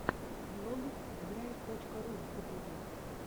влог драйв точка ру в ютубе